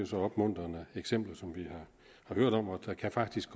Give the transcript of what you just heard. så opmuntrende eksempler som vi har hørt om og der kan faktisk